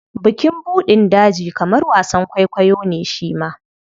Bukin buɗin daji kamar wasan kwaikwayo ne shi ma.